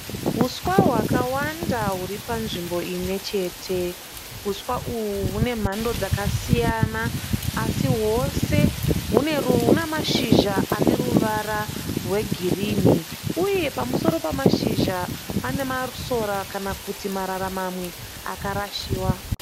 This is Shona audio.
Huswa hwakawanda huri panzvimbo imwe chete. Huswa uhu hune mhando dzakasiyana asi hwose hune mashizha ane ruvara rwegirinhi uye pamusoro pemashizha pane masora kana kuti marara mamwe akarashiwa.